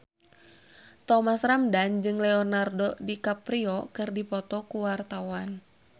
Thomas Ramdhan jeung Leonardo DiCaprio keur dipoto ku wartawan